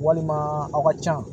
Walima aw ka ca